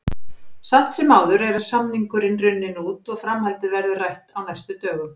Samt sem áður er samningurinn runninn út og framhaldið verður rætt á næstu dögum.